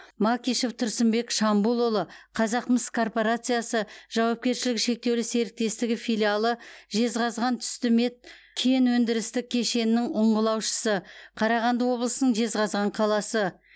макишев тұрсынбек шамбулұлы қазақмыс корпорациясы жауапкершілігі шектеулі серіктестігі филиалы жезқазғантүстімет кен өндірістік кешенінің ұңғылаушысы қарағанды облысының жезқазған қаласы